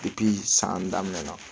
san daminɛna